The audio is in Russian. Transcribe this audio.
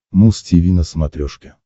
муз тиви на смотрешке